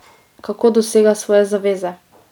Kako dosega svoje zaveze?